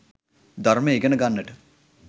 ධර්මය ඉගෙන ගන්නට